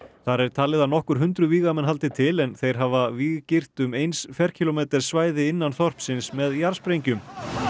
þar er talið að nokkur hundruð vígamenn haldi til en þeir hafa víggirt um eins ferkílómeters svæði innan þorpsins með jarðsprengjum